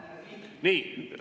Nii.